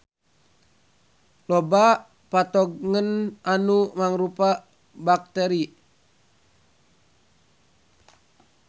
Loba patogen anu mangrupa bakteri.